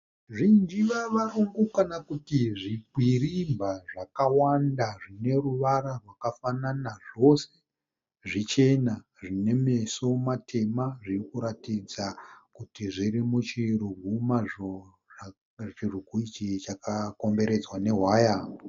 Zvinjivavarombo kana kuti zvikwirimba zvakawanda zvineruvara rwakafanana. Zvose zvichena zvinemeso matema. Zvirikuratidza kuti zvirimuchirugu mazvo, chirugu ichi chakakomberedzwa nehwaya.